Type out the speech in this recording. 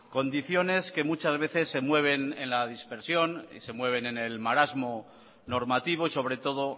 condiciones que muchas veces se mueven en la dispersión y se mueven en el marasmo normativo y sobre todo